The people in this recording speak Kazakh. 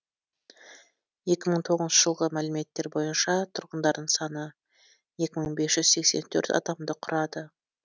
екі мың тоғызыншы жылғы мәліметтер бойынша тұрғындарының саны екі мың бес жүз сексен төрт адамды құрады